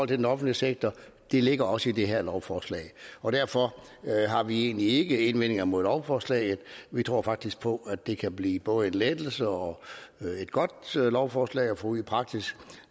den offentlige sektor og det ligger også i det her lovforslag og derfor har vi egentlig ikke indvendinger imod lovforslaget vi tror faktisk på at det kan blive både en lettelse og et godt lovforslag at få ud i praksis